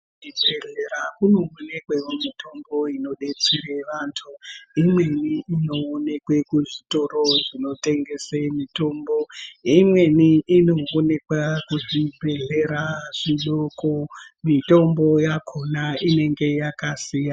Kuchibhedhlera kunopuwe mitombo inodetsere antu . Imweni inoonekwe kuzvitoro zvinotengese mitombo, imweni inoonekwa kuzvibhedhlera zvidoko. Mitombo yakhona yakasiyana.